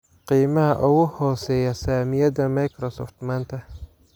Qiimaha ugu hooseeya saamiyada Microsoft maanta